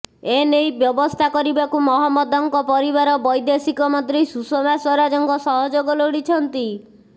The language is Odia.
ଏନେଇ ବ୍ୟବସ୍ଥା କରିବାକୁ ମହମ୍ମଦଙ୍କ ପରିବାର ବୈଦେଶିକ ମନ୍ତ୍ରୀ ସୁଷମା ସ୍ୱରାଜଙ୍କ ସହଯୋଗ ଲୋଡ଼ିଛନ୍ତି